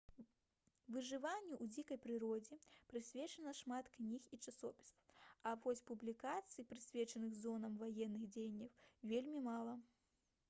выжыванню ў дзікай прыродзе прысвечана шмат кніг і часопісаў а вось публікацый прысвечаных зонам ваенных дзеянняў вельмі мала